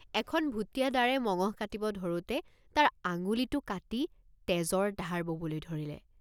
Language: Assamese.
এখন ভূটিয়া দাৰে মঙহ কাটিব ধৰোঁতে তাৰ আঙুলিটে৷ কাটি তেজৰ ধাৰ ববলৈ ধৰিলে।